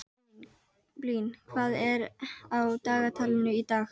Blín, hvað er á dagatalinu í dag?